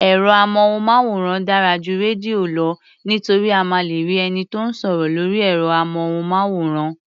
Ẹ̀rọ-amóhùnmáwòrán dára ju rédíò lọ nítorí a máa lè rí ẹni tó ń sọ̀rọ̀ lórí ẹ̀rọ-amóhùnmáwòrán.